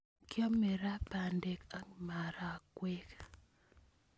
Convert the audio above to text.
Kiame ra pandek ak marakwek